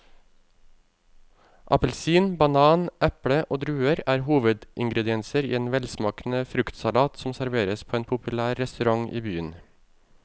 Appelsin, banan, eple og druer er hovedingredienser i en velsmakende fruktsalat som serveres på en populær restaurant i byen.